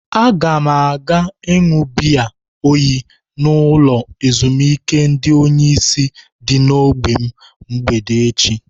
Aga m aga iṅụ biya oyi n'ụlọ ezimuike ndi onyeisi dị n'ógbè m mgbede eche.